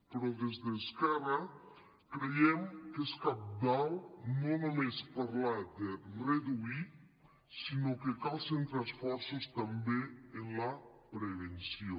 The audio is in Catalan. però des d’esquerra creiem que és cabdal no només parlar de reduir sinó que cal centrar esforços també en la prevenció